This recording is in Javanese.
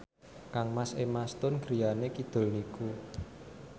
kangmas Emma Stone griyane kidul niku